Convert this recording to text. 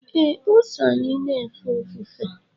ee, o so anyị na-efe ofufe